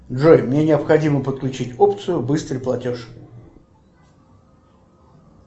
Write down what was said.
джой мне необходимо подключить опцию быстрый платеж